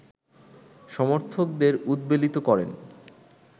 সমর্থকদের উদ্বেলিত করেন